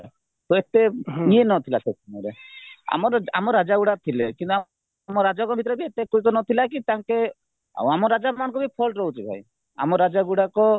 ହେତେ ଇଏ ନଥିଲା ସେସମୟରେ ଆମର ଆମ ରାଜା ଗୁଡା ଥିଲେ କିନ୍ତୁ ଆମ ରାଜକ ଭିତରେ ହେତେ ନଥିଲାକି ଆଉ ଆମ ରାଜା ମାନଙ୍କୁ fault ରହୁଛି ଭାଇ ଆମ ରାଜା ଗୁଡାକ